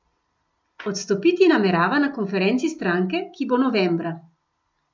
Odstopiti namerava na konferenci stranke, ki bo novembra.